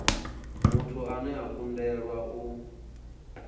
muthu ane a kundelwa u